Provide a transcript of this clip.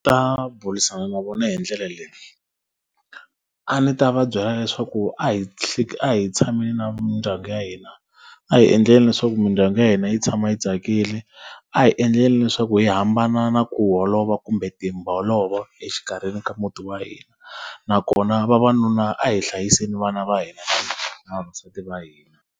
Ta burisana na vona hi ndlela leyi. A ndzi ta va byela leswaku a hi a hi tshameni na mindyangu ya hina, a hi endleni leswaku mindyangu ya hina yi tshama yi tsakile, a hi endleni leswaku hi hambana na ku holova kumbe timbolovo exikarhi ka muti wa hina. Nakona vavanuna a hi hlayiseni vana va hina na vavasati va hina.